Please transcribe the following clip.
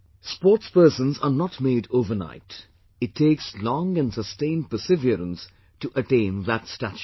Sportsperson are not made overnight; it takes long and sustained perseverance to attain that stature